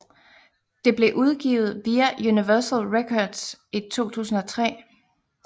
Det blev udgivet via Universal Records i 2003